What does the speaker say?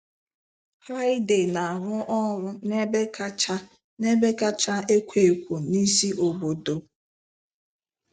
Haide na-arụ ọrụ n'ebe kacha n'ebe kacha ekwo ekwo n'isi obodo.